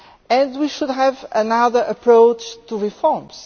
and we should adopt another approach to reforms.